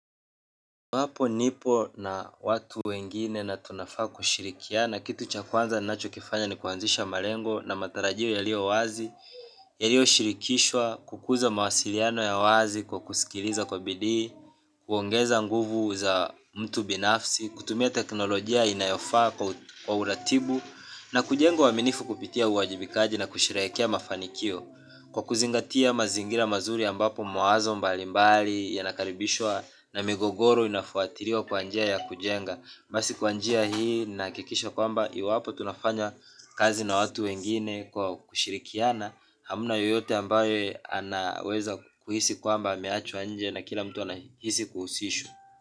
Wapo nipo na watu wengine natunafaa kushirikiana kitu cha kwanza nnacho kifanya ni kuanzisha malengo na matarajio yalio wazi. Yalio shirikishwa kukuza mawasiliano ya wazi kwa kusikiliza kwa bidii, kwongeza nguvu za mtu binafsi, kutumia teknolojia inayofaa kwa uratibu na kujenga uaminifu kupitia uajibikaji na kusherekea mafanikio kwa kuzingatia mazingira mazuri ambapo mawazo mbalimbali yanakaribishwa na migogoro inafuatiwa kwa njia ya kujenga. Basi kwa njia hii nahakikisha kwamba iwapo tunafanya kazi na watu wengine kwa kushirikiana hamna yeyote ambaye anaweza kuhisi kwamba ameachwa nje na kila mtu anahisi kuhusishwa.